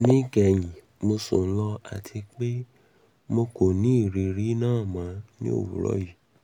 ni kehin mo sun lo ati pe mi ko ni iriri naa mọ ni owurọ yii